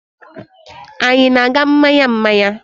Anyị na-aga mmanya mmanya?